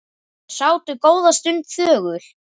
Þau sátu góða stund þögul.